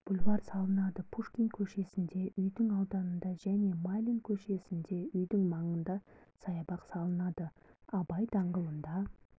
бульвар салынады пушкин көшесінде үйдің ауданында және майлин көшесінде үйдің маңында саябақ салынады абай даңғылында